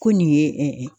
Ko nin ye